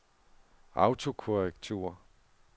autokorrektur